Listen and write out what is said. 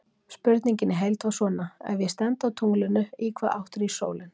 Spurningin í heild var svona: Ef ég stend á tunglinu, í hvaða átt rís sólin?